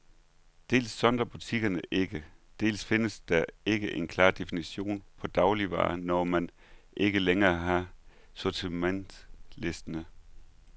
Dels sondrer butikkerne ikke, dels findes der ikke en klar definition på dagligvarer, når man ikke længere har sortimentslisten.